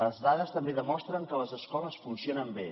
les dades també demostren que les escoles funcionen bé